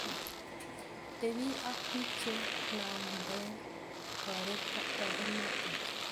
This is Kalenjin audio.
tepi ak pik cheilangden torornatet